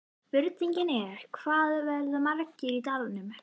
Spurningin er, hvað verða margir í dalnum?